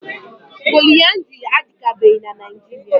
Poliaandrị adịkabeghị na Naịjiria.